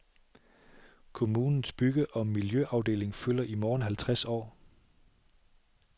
Kommunens bygge og miljøafdeling fylder i morgen halvtreds år.